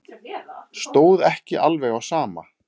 Stóð ekki alveg á sama.